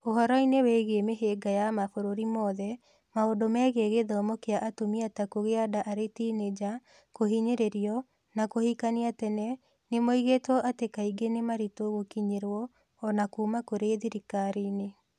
Ũhoro-inĩ wĩgiĩ mĩhĩnga ya mabũrũri mothe, maũndũ megiĩ gĩthomo kĩa atumia ta kũgĩa nda arĩ tinĩnja, kũhinyĩrĩrio, na kũhikania tene nĩ moigĩtwo atĩ kaingĩ nĩ maritũ gũkinyĩrwo o na kuuma kũrĩ thirikari-inĩ.